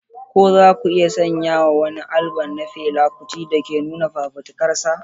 Ko za ku iya sanya wa wani albam na Fela Kuti da ke nuna fafutukarsa?